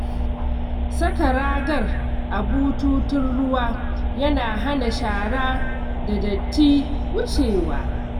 Saka ragar a bututun ruwa yana hana shara da datti wucewa.